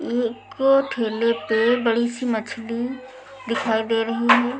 एक ठेले पे बड़ी सी मछली दिखाई दे रही हैं ।